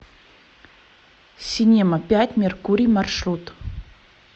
синема пять меркурий маршрут